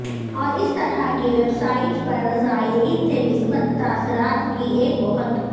اور اس طرح کی ویب سائٹس پر زائرین سے مثبت تاثرات کی ایک بہت